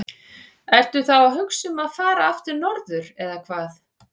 Ertu þá að hugsa um að fara aftur norður eða hvað?